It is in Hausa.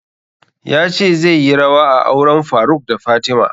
Ya ce zai yi rawa a auren faruk da fatima